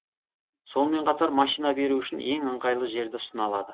сонымен қатар машина беру үшін ең ыңғайлы жерді ұсына алады